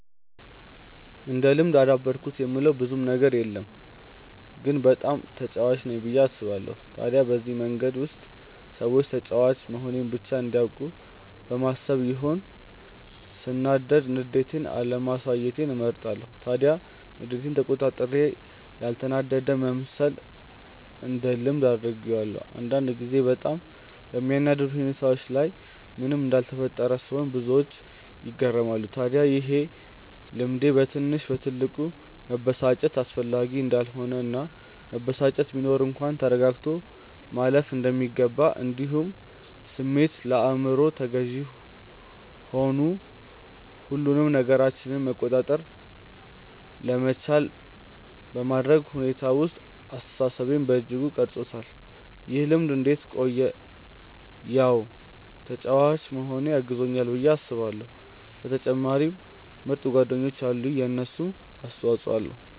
እንደ ልምድ አዳበርኩት የምለው ብዙም ነገር የለም ግን በጣም ተጫዋች ነኝ ብዬ አስባለው። ታዲያ በዚህ መንገድ ውስጥ ሰዎች ተጫዋች መሆኔን ብቻ እንዲያውቁ በማሰብ ይሆን ሰናዳድ ንዴቴን አለማሳየትን እመርጣለው። ታዲያ ንዴቴን ተቆጣጥሬ ያልተናደደ መምሰልን እንደ ልምድ አድርጌዋለው። አንዳንድ ጊዜ በጣም በሚያናድድ ሁኔታዎች ላይ ምንም እንዳልተፈጠረ ስሆን ብዙዎች ይገረማሉ። ታድያ ይሄ ልምዴ በትንሽ በትልቁ መበሳጨት አስፈላጊ እንዳልሆነ እና መበሳጨት ቢኖር እንኳን ተረጋግቶ ማለፍ እንደሚገባ እንዲሁም ስሜት ለአይምሮ ተገዢ ሆኑ ሁሉንም ነገራችንን መቆጣጠር ለመቻል በማድረግ ሁኔታ ውስጥ አስተሳሰቤን በእጅጉ ቀርፆታል። ይህ ልምድ እንዴት ቆየ ያው ተጫዋች መሆኔ አግዞኛል ብዬ አስባለው በተጨማሪም ምርጥ ጓደኞች አሉኝ የነሱም አስተፆይ ኣለዉ።